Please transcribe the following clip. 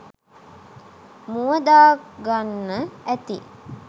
මූව දාගන්න ඇති